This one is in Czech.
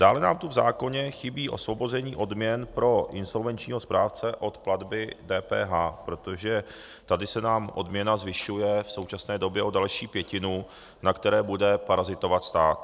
Dále nám tu v zákoně chybí osvobození odměn pro insolvenčního správce od platby DPH, protože tady se nám odměna zvyšuje v současné době o další pětinu, na které bude parazitovat stát.